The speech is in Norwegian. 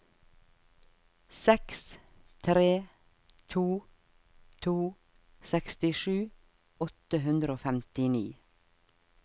seks tre to to sekstisju åtte hundre og femtini